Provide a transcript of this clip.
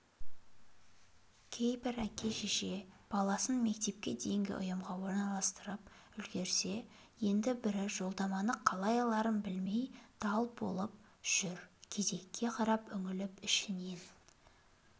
кейбір әке-шеше баласын мектепке дейінгі ұйымға орналастырып үлгерсе енді бірі жолдаманы қалай аларын білмей дал боп жүр кезекке қарап үңіліп ішінен